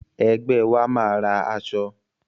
Ẹgbẹ́ wa máa ra aṣọ.